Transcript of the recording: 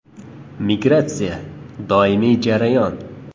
Migratsiya – doimiy jarayon.